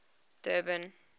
durban